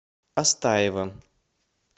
астаева